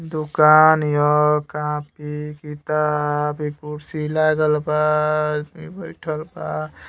दुकान हीय। कापी किताब ई कुर्सी लागल बा। आदमी बइठल बा।